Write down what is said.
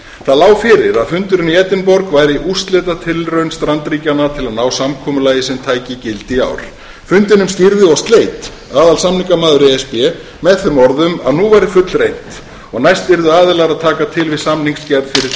það lá fyrir að fundurinn í edinborg væri úrslitatilraun strandríkjanna til að ná samkomulagi sem tæki gildi í ár fundinum stýrði og sleit aðalsamningamaður e s b með þeim orðum að nú væri fullreynt og næst yrðu aðilar að taka til við samningsgerð fyrir tvö þúsund og